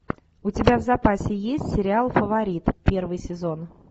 у тебя в запасе есть сериал фаворит первый сезон